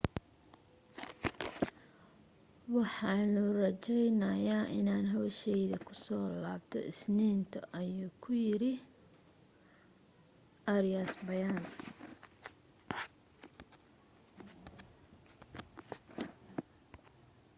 waxaanu rajaynayaa inaanu hawshayda kusoo laabto isniinta ayuu ku yiray arias bayaan